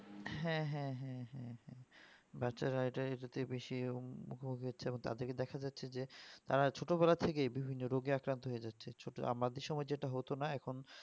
হ্যাঁ হ্যাঁ হ্যাঁ হ্যাঁ হ্যাঁ বাচ্চারা এটার বেশি এরকম হবে তাদের কে দেখা যাচ্ছে যে তারা ছোট বলা থেকেই বিভিন্ন অররোগে আক্রান্ত হয়ে যাচ্ছে ছোট আমাদের সময় যেটা হতো না এখন